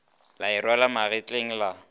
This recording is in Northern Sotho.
la e rwala magetleng la